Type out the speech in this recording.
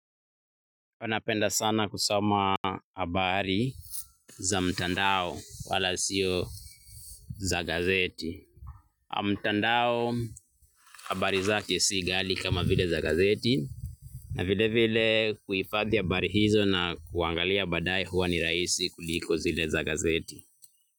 Huwa napenda sana kusoma habari za mtandao wala sio za gazeti. Mtandao habari zake si ghali kama vile za gazeti. Na vile vile kuifadhi habari hizo na kuangalia baadaye huwa ni rahisi kuliko zile za gazeti.